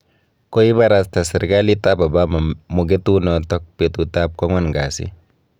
Koibarasta serkalit ab Obama mugetunoto betut ab kwang'wan kasi